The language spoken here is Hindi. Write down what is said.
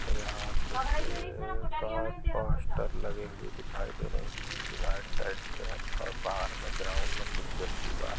यहाँ कुछ का पोस्टर लगे हैं आइट साइड से हैं और बाहर मे ग्राउन्ड मे कुछ व्यक्ति--